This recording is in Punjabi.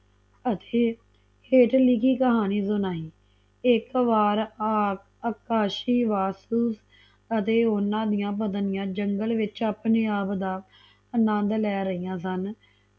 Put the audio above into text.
ਅਤੇ ਹੇਠ ਲਿਖੀ ਕਹਾਣੀ ਸੁਣਾਈ ਇਕ ਵਾਰ ਅਕਾਸ਼ਿਵਸਤੁ ਅਤੇ ਓਹਨਾ ਦੀਆਂ ਪਤਨੀਆਂ ਜੰਗਲ ਵਿਚ ਆਪਣੇ ਆਪ ਦਾ ਅਨੰਦ ਲੇ ਰਹਿਆ ਸਨ